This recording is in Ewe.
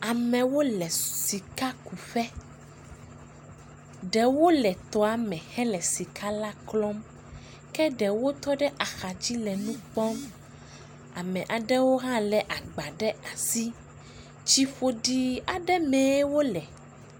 Amewo le siakuƒe. Ɖewo le tɔa me hele sikala klɔm. Ke ɖewo tɔ ɖe axadzi le nu kpɔm. Am aɖewo hã lé agba ɖe asi. Tsiƒoɖii aɖe mee wole.